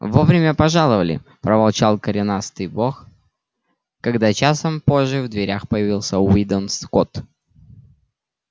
вовремя пожаловали проворчал коренастый бог когда часом позже в дверях появился уидон скотт